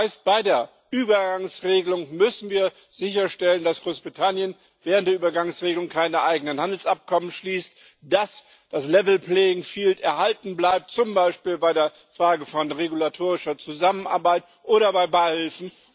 Das heißt Bei der Übergangsregelung müssen wir sicherstellen, dass Großbritannien während der Übergangsregelung keine eigenen Handelsabkommen schließt, dass das erhalten bleibt zum Beispiel bei der Frage von regulatorischer Zusammenarbeit oder bei Beihilfen.